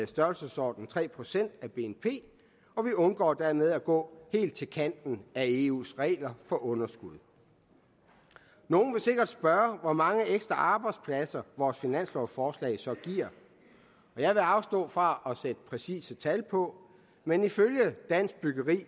størrelsesordenen tre procent af bnp og vi undgår dermed at gå helt til kanten af eus regler for underskud nogle vil sikkert spørge hvor mange ekstra arbejdspladser vores finanslovsforslag så giver og jeg vil afstå fra at sætte præcise tal på men ifølge dansk byggeri